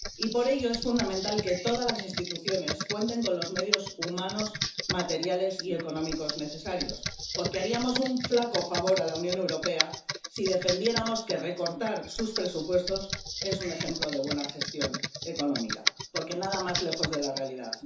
Por ello, es fundamental que todas las instituciones cuenten con los medios humanos, materiales y económicos necesarios, porque haríamos un flaco favor a la Unión Europea si defendiéramos que recortar sus presupuestos es un ejemplo de buena gestión económica, porque nada más lejos de la realidad.